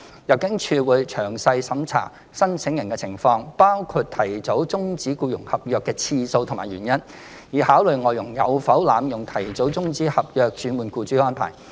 入境處會詳細審查申請人的情況，包括提早終止僱傭合約的次數及原因，以考慮外傭有否濫用提早終止合約轉換僱主的安排。